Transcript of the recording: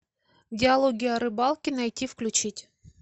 диалоги о рыбалке найти включить